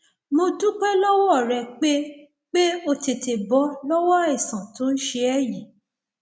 mo dúpẹ lọwọ rẹ pé pé o tètè bọ lọwọ àìsàn tó ń ṣe ẹ yìí